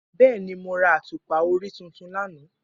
Bẹẹni, Mo ra atupa ori tuntun lana